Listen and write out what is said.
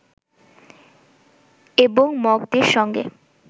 এবং মগদের সঙ্গে